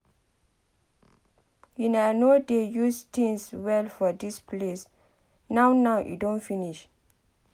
Una no dey use things well for dis place now now e don finish.